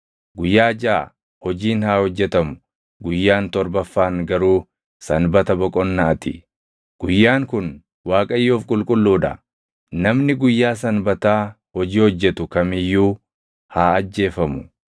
Guyyaa jaʼa hojiin haa hojjetamu; guyyaan torbaffaan garuu sanbata boqonnaa ti; guyyaan kun Waaqayyoof qulqulluu dha. Namni guyyaa Sanbataa hojii hojjetu kam iyyuu haa ajjeefamu.